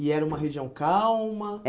E era uma região calma?